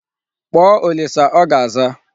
Kpọọ Olisa ọ ga-aza.